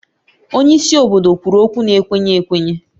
Onye isi obodo kwuru okwu na-ekwenye ekwenye